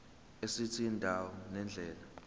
esithi indawo nendlela